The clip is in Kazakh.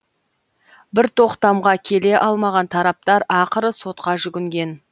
бір тоқтамға келе алмаған тараптар ақыры сотқа жүгінген